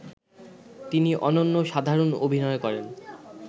তিনি অনন্য সাধারণ অভিনয় করেন